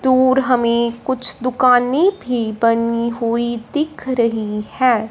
दूर हमें कुछ दुकानें भी बनी हुई दिख रही हैं।